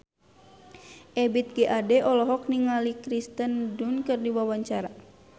Ebith G. Ade olohok ningali Kirsten Dunst keur diwawancara